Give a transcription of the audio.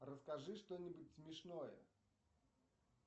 расскажи что нибудь смешное